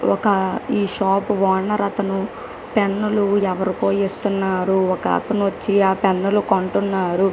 ఒక ఈ shop owner అతను పెన్నులు ఎవరికో ఇస్తున్నారు ఒక అతను వచ్చి ఆ పెన్నులు కొంటున్నారూ